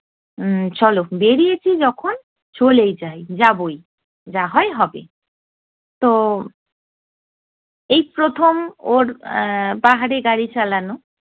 উম চলো বেড়িয়েছি যখন চলেই যাই যাবোই, যা হয় হবে। তো, এই প্রথম ওর এ্যা পাহাড়ে গাড়ি চালানো।